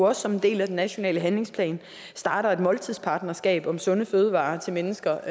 også som en del af den nationale handlingsplan starter et måltidspartnerskab om sunde fødevarer til mennesker